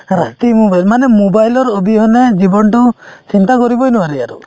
ৰাতি mobile মানে mobile ৰ অবিহনে জীৱনতো চিন্তা কৰিবই নোৱাৰি আৰু